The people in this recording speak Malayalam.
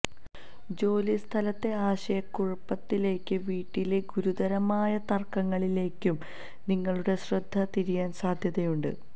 ജോലിസ്ഥലത്തെ ആശയക്കുഴപ്പത്തിലേക്കും വീട്ടിലെ ഗുരുതരമായ തർക്കങ്ങളിലേക്കും നിങ്ങളുടെ ശ്രദ്ധ തിരിയാൻ സാധ്യതയുണ്ട്